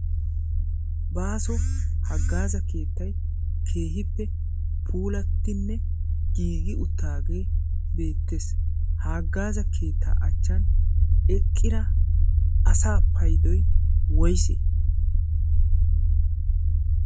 baaso haggaaza keettai keehippe puulattinne giigi uttaagee beettees. ha aggaaza keettaa achchan eqqira asa paidoy woysee?